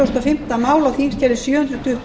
frú forseti á þingskjali sjö hundruð